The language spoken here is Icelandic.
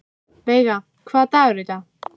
Veiga, hvaða dagur er í dag?